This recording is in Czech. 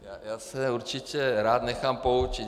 Já se určitě rád nechám poučit.